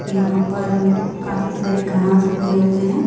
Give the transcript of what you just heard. यहाँ पर काफी सारी घास उगे हुए हैं।